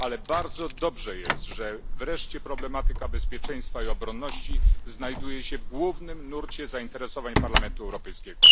Ale to bardzo dobrze, że wreszcie problematyka bezpieczeństwa i obronności znajduje się w głównym nurcie zainteresowań Parlamentu Europejskiego.